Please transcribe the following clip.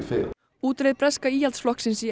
útreið breska Íhaldsflokksins í